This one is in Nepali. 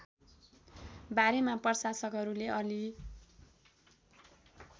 बारेमा प्रशासकहरूले अलि